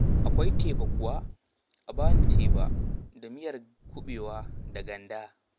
Akwai teba kuwa? A ba ni teba da miyar kuɓewa da ganda.